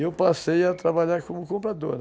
E eu passei a trabalhar como comprador.